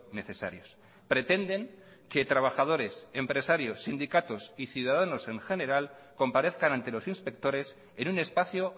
necesarios pretenden que trabajadores empresarios sindicatos y ciudadanos en general comparezcan ante los inspectores en un espacio